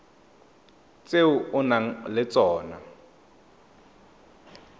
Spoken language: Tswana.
tse o nang le tsona